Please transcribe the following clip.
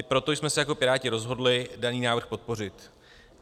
I proto jsme se jako Piráti rozhodli daný návrh podpořit.